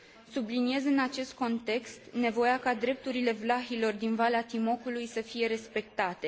Subliniez în acest context nevoia ca drepturile vlahilor din Valea Timocului să fie respectate.